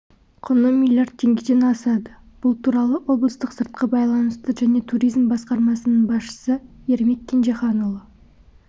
құны миллиард теңгеден асады бұл туралы облыстық сыртқы байланыстар және туризм басқармасының басшысы ермек кенжеханұлы